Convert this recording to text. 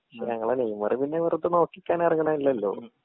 ഞങ്ങളെ നെയ്‌മർ പിന്നെ വെറുതെ നോക്കിക്കാൻ എറങ്ങിണലല്ലോ